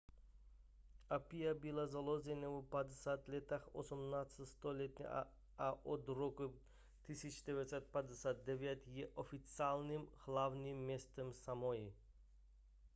apia byla založena v 50. letech 18. století a od roku 1959 je oficiálním hlavním městem samoi